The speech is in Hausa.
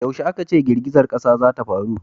yaushe a ka ce girgizan ƙasa za ta faru?